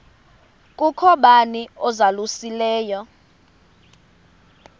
kukho bani uzalusileyo